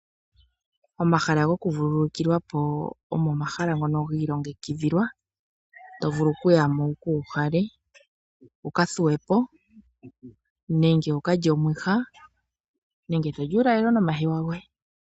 Omahala goku vululukilwa po omo omahala ngono ga ilongekidhilwa. To vulu oku yamo wuka uhale, wuka thuwe po nenge wukalye omwiha nenge toli uulalelo nomahewa goye.